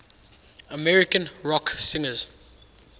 american rock singers